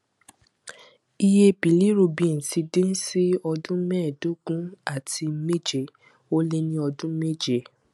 iye bilirubin ti dín sí ọdún mẹẹédógún àti méje ó lé ní ọdún méje